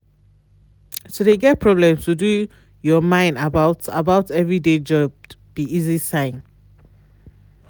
to de get problem to do your mine about about everyday job be easy sign.